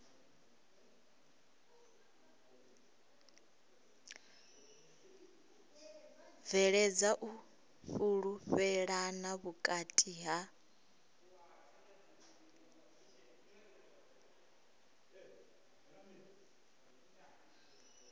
bveledza u fhulufhelana vhukati ha